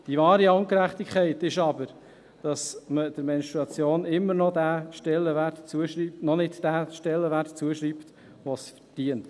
Die wahre Ungerechtigkeit ist aber, dass man der Menstruation immer noch nicht den Stellenwert zuschreibt, den sie verdient.